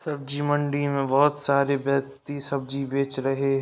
सब्जी मंडी में बहोत सारे व्यक्ति सब्जी बेच रहे --